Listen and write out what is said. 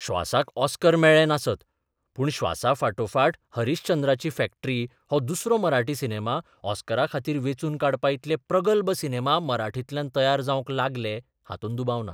श्वासाक Oscar मेळ्ळें नासत, पूण 'श्वासा 'फाटोफाट हरिश्चंद्राची फॅक्टरी हो दुसरो मराठी सिनेमा ऑस्कराखातीर वेंचून काडपा इतले प्रगल्भ सिनेमा मराठींतल्यान तयार जावंक लागले हातूंत दुबाव ना.